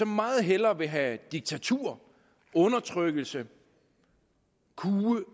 meget hellere have diktatur og undertrykkelse og kue